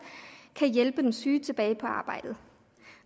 kan hjælpe den syge tilbage på arbejdet